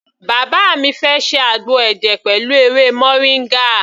Bàbá mi fẹ́ ṣe àgbo ẹ̀jẹ̀ pẹ̀lú ewé moringa.